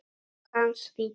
Hans lítill.